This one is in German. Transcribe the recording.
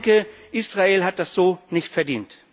Ich denke, Israel hat das so nicht verdient.